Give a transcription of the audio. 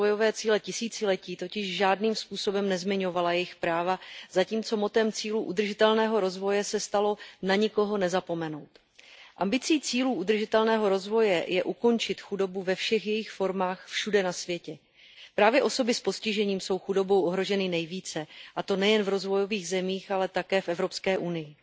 rozvojové cíle tisíciletí, totiž žádným způsobem nezmiňovala jejich práva, zatímco motem cílů udržitelného rozvoje se stalo Na nikoho nezapomenout. Ambicí cílů udržitelného rozvoje je ukončit chudobu ve všech jejich formách všude na světě. Právě osoby s postižením jsou chudobou ohroženy nejvíce, a to nejen v rozvojových zemích, ale také v Evropské unii.